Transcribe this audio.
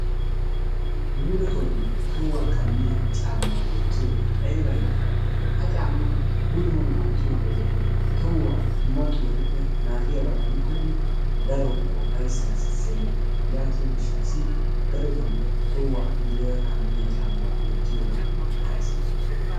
Muleetoon tohuwaa kamiyaa cammaa wottiyoogee ayba iitee. Ha cammaa muletoo wottiyo wode tohuwa dumma xubettuppe naagiyaabaa gidikkonne daro ufayssaa sisenna. Yaatiyo gishshassi darotoon tohuwaa muleera wottiya caammaa wottiyoogaa ixxays.